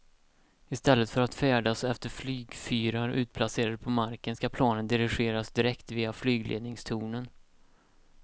I stället för att färdas efter flygfyrar utplacerade på marken ska planen dirigeras direkt via flygledningstornen.